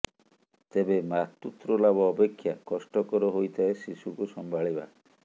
ତେବେ ମାତୃତ୍ୱ ଲାଭ ଅପେକ୍ଷା କଷ୍ଟକର ହୋଇଥାଏ ଶିଶୁକୁ ସମ୍ଭାଳିବା